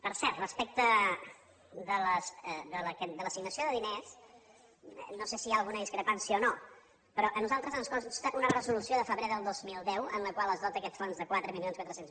per cert respecte de l’assignació de diners no sé si hi ha alguna discrepància o no però a nosaltres ens consta un resolució de febrer del dos mil deu en la qual es dota aquest fons de quatre mil quatre cents